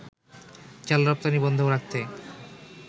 চাল রপ্তানি বন্ধ রাখতে